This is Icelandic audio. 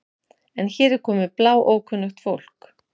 En hér er komið bláókunnugt fólk.